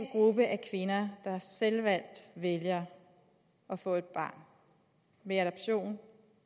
gruppe af kvinder der selvvalgt vælger at få et barn ved adoption